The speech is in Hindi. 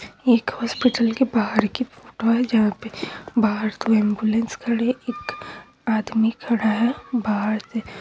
एक हॉस्पिटल के बहार की फ़ोटो है जहा पे बाहर दो एम्बुलेंस खड़ी है एक आदमी खड़ा है बहार से--